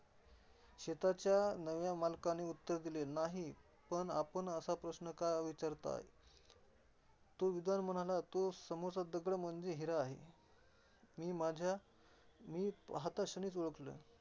शेताच्या नव्या मालकाने उत्तर दिले नाही. पण आपण असा प्रश्न का विचारताय? तो विद्वान म्हणाला तो समोरचा दगड म्हणजे हिरा आहे. मी माझ्या मी पाहताक्षणीच ओळखल.